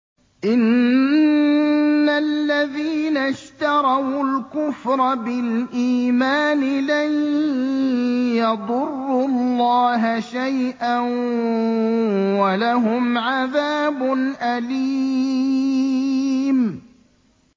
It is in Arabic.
إِنَّ الَّذِينَ اشْتَرَوُا الْكُفْرَ بِالْإِيمَانِ لَن يَضُرُّوا اللَّهَ شَيْئًا وَلَهُمْ عَذَابٌ أَلِيمٌ